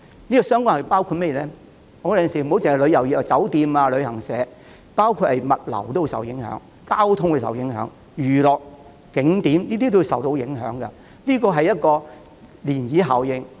有時候，不單旅遊業的酒店、旅行社受影響，包括物流、交通、娛樂、景點等也會受影響，這是一種漣漪效應。